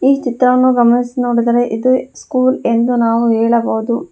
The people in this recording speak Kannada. ಈ ಚಿತ್ರವನ್ನು ಗಮನಿಸಿ ನೋಡಿದರೆ ಇದು ಸ್ಕೂಲ್ ಎಂದು ನಾವು ಹೇಳಬಹುದು.